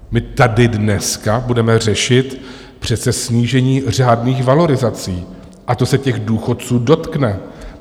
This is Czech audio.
My tady dneska budeme řešit přece snížení řádných valorizací a to se těch důchodců dotkne.